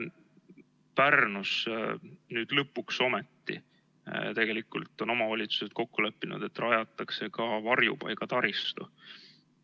Pärnus nüüd lõpuks ometi on omavalitsused kokku leppinud, et rajatakse ka varjupaigataristu.